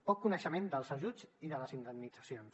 poc coneixement dels ajuts i de les indemnitzacions